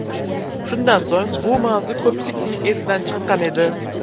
Shundan so‘ng bu mavzu ko‘pchilikning esidan chiqqan edi.